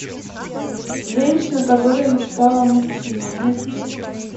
женщина которая мечтала о мужчине найти